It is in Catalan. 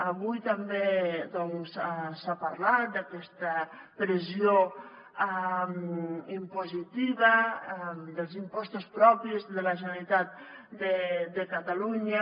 avui també doncs s’ha parlat d’aquesta pressió impositiva dels impostos propis de la generalitat de catalunya